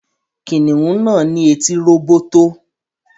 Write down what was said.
Kìnìún náà ní etí róbótó